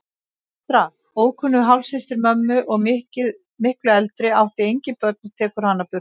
Fóstra, ókunnug hálfsystir mömmu og miklu eldri, átti engin börnin og tekur hana burt.